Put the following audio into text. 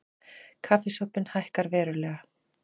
Kaffisopinn hækkar verulega